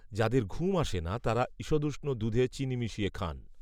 যাদের ঘুম আসে না তারা ঈষদুষ্ণ দুধে চিনি মিশিয়ে খান